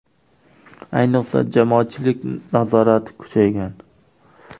Ayniqsa, jamoatchilik nazorati kuchaygan.